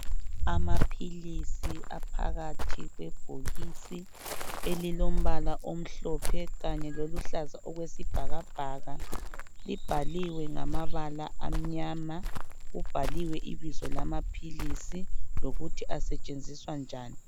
Amaphilisi aphakathi kwebhokisi elilombala omhlophe kanye loluhlaza okwesibhakabhaka, libhaliwe ngamabala amnyama , kubhaliwe ibizo lamaphilisi lokuthi asetshenziswa njani.